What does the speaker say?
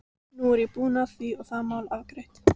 Nú er ég búinn að því og það mál afgreitt.